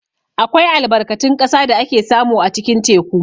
Akwai albarkatun ƙasa da ake samu a cikin teku.